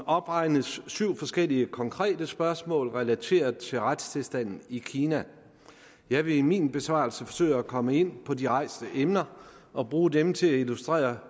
opregnes syv forskellige konkrete spørgsmål relateret til retstilstanden i kina jeg vil i min besvarelse forsøge at komme ind på de rejste emner og bruge dem til at illustrere